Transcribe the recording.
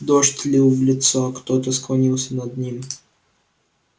дождь лил в лицо кто-то склонился над ним